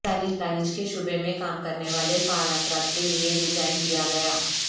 دانش کے شعبے میں کام کرنے والے فعال افراد کے لئے ڈیزائن کیا گیا